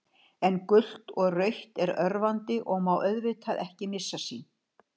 En gult og rautt er örvandi og má auðvitað ekki missa sín.